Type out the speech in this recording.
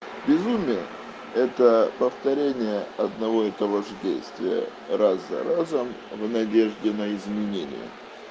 безумие это повторение одного и того же действия раз за разом в надежде на изменение